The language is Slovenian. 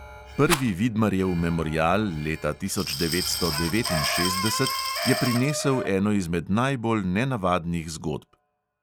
Prvi vidmarjev memorial leta tisoč devetsto devetinšestdeset je prinesel eno izmed najbolj nenavadnih zgodb.